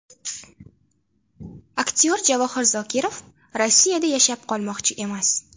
Aktyor Javohir Zokirov Rossiya yashab qolmoqchi emas.